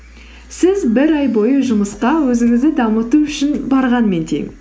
сіз бір ай бойы жұмысқа өзіңізді дамыту үшін барғанмен тең